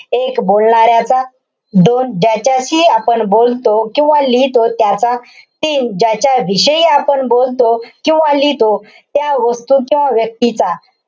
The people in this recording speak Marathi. एक, बोलणाऱ्याचा, दोन, ज्याच्याशी आपण बोलतो किंवा लिहितो त्याचा, तीन, ज्याच्याशी आपण बोलतो किंवा लिहितो त्या वस्तूचा, व्यक्तीचा,